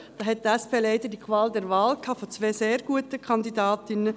Da hatte die SP leider die Qual der Wahl zwischen zwei sehr guten Kandidatinnen.